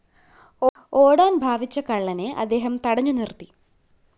ഓടാന്‍ ഭാവിച്ച കള്ളനെ അദ്ദേഹം തടഞ്ഞുനിര്‍ത്തി